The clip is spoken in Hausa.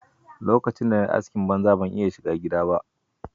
Lokacin da na yi askin banza, ban iya shiga gidda ba.